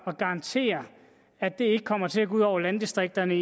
og garantere at det ikke kommer til at gå ud over landdistrikterne